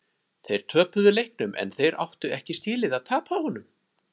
Þeir töpuðu leiknum en þeir áttu ekki skilið að tapa honum.